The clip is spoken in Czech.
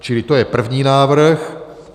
Čili to je první návrh.